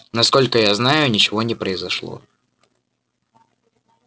насколько я знаю ничего не произошло